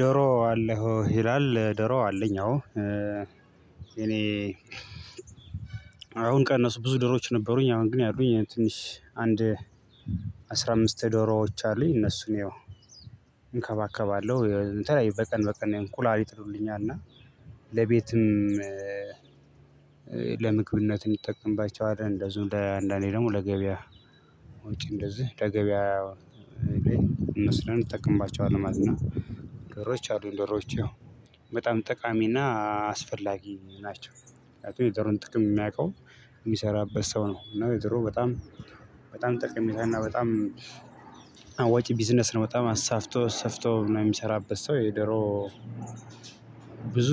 ዶሮ አለዎ? ይላል ዶሮ አለኝ አዎ እኔ አሁን ቀነሱ ብዙ ዶሮዎች ነበሩኝ አሁን ግን ያሉኝ ትንሽ አንድ አስራ አምስት ዶሮዎች አሉኝ እነሱን ያው እንከባከባለሁ በቀን በቀን እንቁላል ይጥልሉኛል እና ለቤትም ለምግብነት እንጠቀምባቸዋለን እንደዚሁ አንዳንድ ጊዜ ደግሞ ለገበያ ውጪ እንደዚህ ለገበያ ወስደን እንጠቀምባቸዋለን ማለት ነው ዶሮዎች አሉኝ ደሮዎች ያው በጣም ጠቃሚና አስፈላጊ ናቸው ምክንያቱም የዶሮን ጥቅም የሚያውቀው የሚሰራበት ሰው ነው እና የዶሮ በጣም በጣም ጠቀሜታና በጣም አዋጭ ቢዝነስ ነው በጣም አሳፍቶ አሳፍቶ የሚሰራበት ሰው የዶሮ ብዙ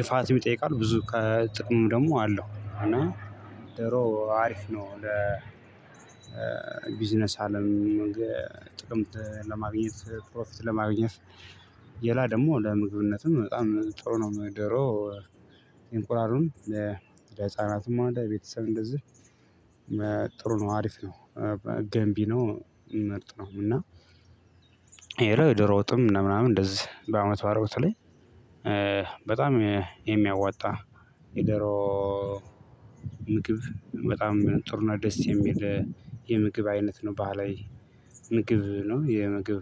ልፋትም ይጠይቃል ብዙ ከጥቅም ደግሞ አለው እና ዶሮ አሪፍ ነው ለ ቢዝነስ አለም ጥቅም ለማግኘት ፕሮፊት ለማግኘት ሌላ ደግሞ ለምግብነትም በጣም ጥሩ ነው ዶሮ እንላሉን ለህፃናትም ሆነ ለቤተሰብ እንደዚህ ጥሩ ነው አሪፍ ነው ገንቢ ነው ምርጥ ነው እና ሌላው የዶሮ ወጥ ምናምን እንደዚህ በአመት በዓል በተለይ በጣም የሚያዋጣ የዶሮ ምግብ በጣም ጥሩ እና ደስ የሚል የምግብ አይነት ነው ባህላዊ ምግብ ነው የምግብ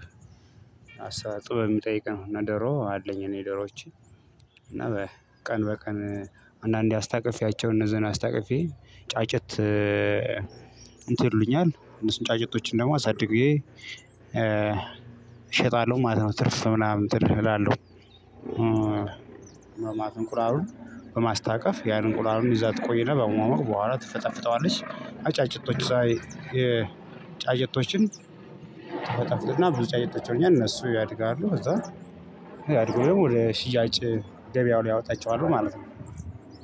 አሰራር ጥበብ የሚጠይቅ ነው እና ዶሮ አለኝ እኔ ዶሮዎቼ እና ቀን በቀን አንዳንዴ አስታቅፌያቸው እነዚህን አስታቅፌ ጫጭት እንትን ይሉልኛል እነሱን ጫጨቶችን ደግሞ አሳድጌ እሸጣለሁ ማለት ነው ትርፍ ምናምን ትርፍ እላለሁ በማትንቁራሩን በማስታቀፍ ያንን እንቁላሉን ይዛ ትቆይና በመሆን በኋላ ትፈጠፍጠዋለች አጫጭቶች ሳይ የጫየቶችን ትፈጠፍጥና ብዙ ጫጭቶች ይሆንልኛል እነሱ ያድጋሉ ከዛ ያድጉም ወደ ሽያጭ ደቢያው ያወጣቸዋሉ ማለት ነው